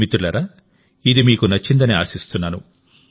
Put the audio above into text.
మిత్రులారా ఇదిమీకు నచ్చిందని ఆశిస్తున్నాను